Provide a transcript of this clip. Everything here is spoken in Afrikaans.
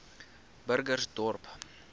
burgersdorp